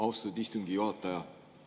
Austatud istungi juhataja!